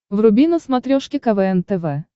вруби на смотрешке квн тв